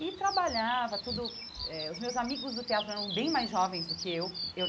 E trabalhava, tudo... Eh Os meus amigos do teatro eram bem mais jovens do que eu eu.